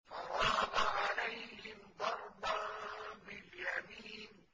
فَرَاغَ عَلَيْهِمْ ضَرْبًا بِالْيَمِينِ